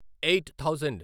eight thousand